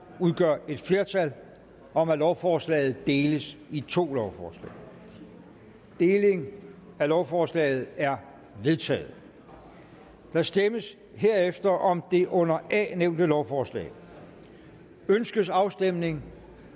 udgør et flertal om at lovforslaget deles i to lovforslag deling af lovforslaget er vedtaget der stemmes herefter om det under a nævnte lovforslag ønskes afstemning